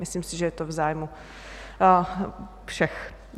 Myslím si, že je to v zájmu všech.